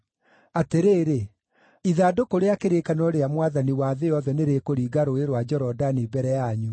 Atĩrĩrĩ, ithandũkũ rĩa kĩrĩkanĩro rĩa Mwathani wa thĩ yothe nĩrĩkũringa Rũũĩ rwa Jorodani mbere yanyu.